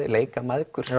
leika mæðgur